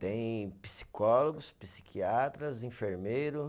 Tem psicólogos, psiquiatras, enfermeiro.